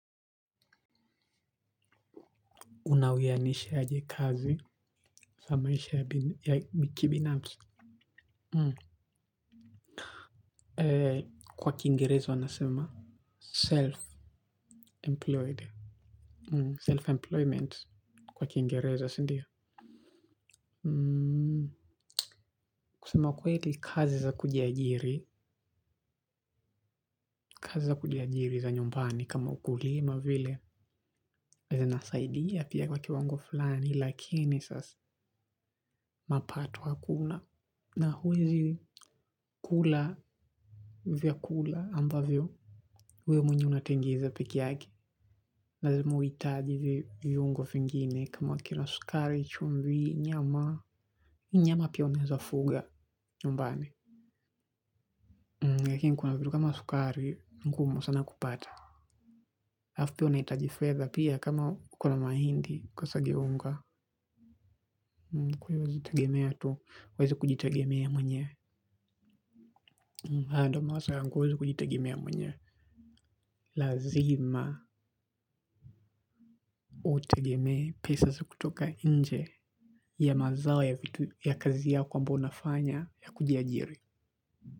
Unaweanisha aje kazi sa maisha ya kibinapsi. Kwa kiingereza wanasema self-employed. Self-employment kwa kiingereza sindio. Kusema kweli kazi za kujiajiri kazi za kujiari za nyumbani kama ukulima vile huwa zina saidia pia kwa kiwango fulani lakini sasa mapato hakuna. Na huwezi kula vyakula ambavyo. Huyo mwenye unatengeza peki yake lazima uitaji viungo fingine kama kina sukari, chumvi, nyama. Nyama pia uneza fuga nyumbani lakin kuna vitu kama sukari ni ngumu sana kupata. Afu pia unaitaji fedha pia kama kuna mahindi kwa siaga unga huwezi kujitegema mwenyewe, hayo ndo mawazo yangu huwezi kujitegemea mwenyewe lazima utegemee pesa za kutoka nje ya mazao ya kazi yako ya kufanya ambayo ni ya kujiajiri.